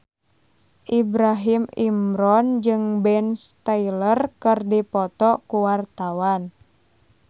Ibrahim Imran jeung Ben Stiller keur dipoto ku wartawan